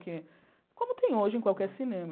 Que como tem hoje em qualquer cinema.